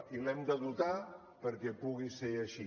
i l’hem de dotar perquè pugui ser així